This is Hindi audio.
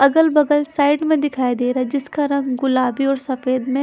अगल बगल साइड में दिखाई दे रहा जिसका रंग गुलाबी और सफेद में--